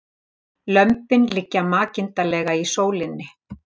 Lömbin liggja makindalega í sólinni